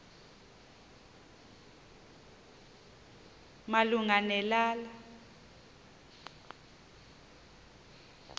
malunga ne lala